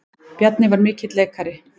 Bjarni var mikill leikari.